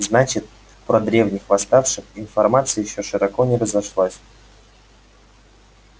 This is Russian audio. значит про древних восставших информация ещё широко не разошлась